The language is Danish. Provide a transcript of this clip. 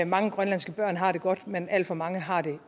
mange grønlandske børn har det godt men alt for mange har det